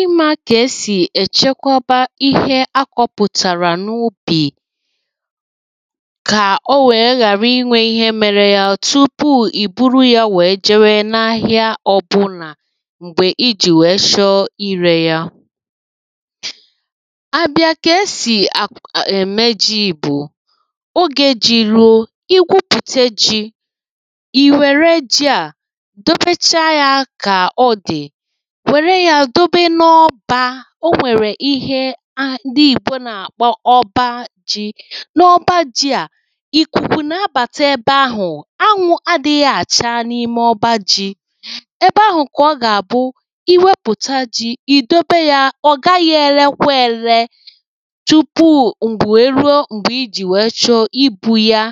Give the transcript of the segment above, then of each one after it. ị mȧ kà esì èchekwaba ihe akọ̇pụ̀tàrà n’ubì kà o wèe ghàra inwė ihe mere ya tupuu ì buru ya wèe jewe n’ahị̀a ọbụlà m̀gbè i jì wèe chọ irė ya: A bịa kà esì ak ème jì bụ̀ oge jì ruo, i gwupùte jì, i wère ji a dotecha yȧ ka-odi, nwèrè yà dobe n’ọbȧ o nwèrè ihe ah ndi ìgbò nà-àkpọ ọba ji. N’ọba ji à, ìkùkù na-abàtà ebe ahụ̀, anwụ̇ adị̇ghị̇ àcha n’ime ọba ji. Ebe ahụ̀ kà ọ gà-àbụ iwepùta ji ìdobe yȧ ọ̀ gaghị̇ èlekwa ele, tupu ǹgwù wèe ruo mgbè ijì wèe chọ ibu̇ yȧ,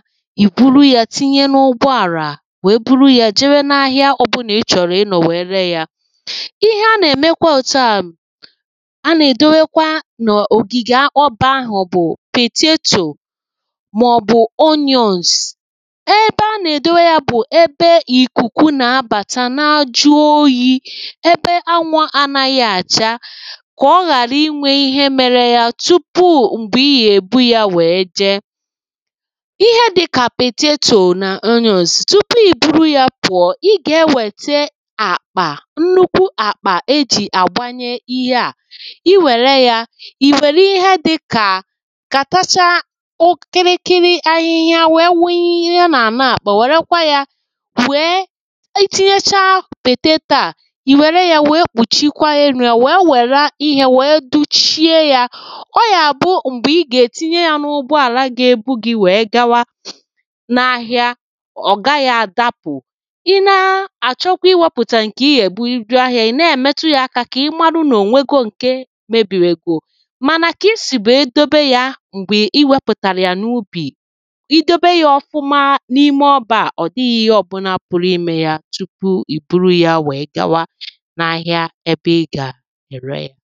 ì buru yȧ tinye n’ụgbọ àrà wèe buru yȧ jewe na ahịa ọbụlà ị chọ̀rọ̀ ị nọ̀ wèe ree yȧ. Ihe a nà-èmekwa òtù a a nà-èdowekwa n’ògìgè ọbà ahụ̀ bụ̀ pètetò maọ̀bụ̀ onions ebe a nà-èdowe ya bụ̀ ebe ìkùkù na-abàta na-ajụ oyi, ebe anwụ̇ ànaghị̀ àcha ka ọ ghàra inwe ihe mere ya tupu m̀gbè ihe ebu ya wee jee. Ihe dị kà pètetò nà onions tupu ìburu ya pụ̀ọ, i gà-ewète àkpà, nnukwu àkpà e ji agbànye Ihe a, i wère ya i wèli ihe dịkà kàtachaa o kịrịkịrị ahịhịa wee wunye n’àlà àkpà wèrekwa ya wee itinyechaa pèteto à i wère ya wee kpùchikwaa elu̇ ya, wee wère a ihe wee duchie ya, ọ yà bụ̀ m̀gbè i gà-ètinye ya n’ụgbọ àlà gà-èbu gị̀ wee gawa n’ahịa ọ̀ gaghị̀ àdapụ̀. I na a achokwa iweputa nke I ya ebụ jee ahia, I na-èmetu yȧ aka kà ịmarụ nà ònwegò ǹkè mebìwègò, mànà kà isìbè dobe ya m̀gbè iwepụ̀tàrà ya n’ụbì, i dobe ya ọfụma n’ime ọbȧ a, ọ̀dịghị̇ ihe ọ̀bụlà pụ̀rụ imė ya tupu ì buru ya wèe gawa n’ahịa ebe ị gà-ère ya.